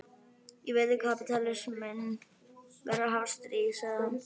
Ég veit að kapítalisminn verður að hafa stríð, sagði hann.